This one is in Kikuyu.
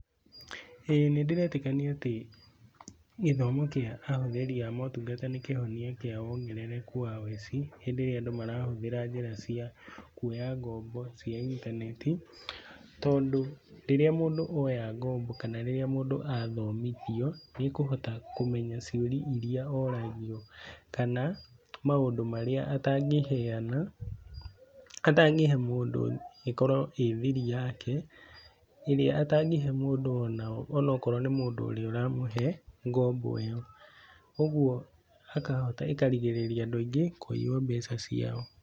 Ĩĩ nĩndĩretĩkania atĩ gĩthomo kĩa ahũthĩri a motungata nĩ kĩhonia kĩa wongerereku wa woici rĩrĩa andũ marahũthĩra njĩra cia kwoya ngombo cia intaneti, tondũ rĩrĩa mũndũ oya ngombo kana rĩrĩa mũndũ athomithio nĩ ekũhota kũmenya ciũria iria ũragio kana maũndũ marĩa atangĩheana atangĩhe mũndũ ũngĩ ĩkorwo ĩrĩ thiri yake ĩrĩa atangĩhe mũndũ onao ona korwo nĩ mũndũ ũrĩa ũramũhe ngombo ĩyo, ũguo ĩkarigarĩria andũ aingĩ kũiywo mbeca ciao.